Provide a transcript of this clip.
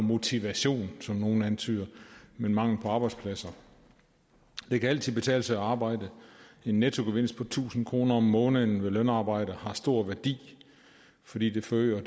motivation som nogle antyder men mangel på arbejdspladser det kan altid betale sig at arbejde en nettogevinst på tusind kroner om måneden ved lønarbejde har stor værdi fordi den forøger